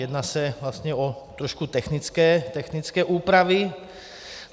Jedná se vlastně o trošku technické úpravy.